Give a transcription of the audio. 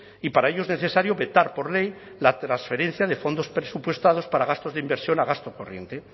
y para ello es necesario vetar por ley la transferencia de fondos presupuestados para gastos de inversión a gasto corriente